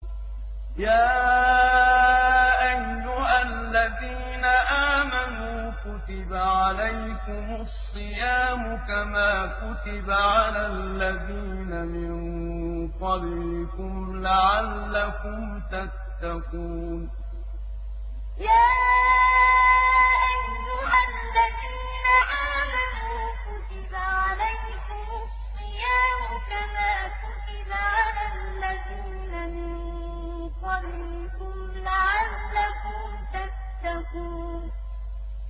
يَا أَيُّهَا الَّذِينَ آمَنُوا كُتِبَ عَلَيْكُمُ الصِّيَامُ كَمَا كُتِبَ عَلَى الَّذِينَ مِن قَبْلِكُمْ لَعَلَّكُمْ تَتَّقُونَ يَا أَيُّهَا الَّذِينَ آمَنُوا كُتِبَ عَلَيْكُمُ الصِّيَامُ كَمَا كُتِبَ عَلَى الَّذِينَ مِن قَبْلِكُمْ لَعَلَّكُمْ تَتَّقُونَ